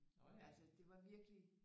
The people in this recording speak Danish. Altså det var virkelig